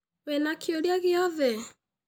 Wĩna kĩũria gĩoothe?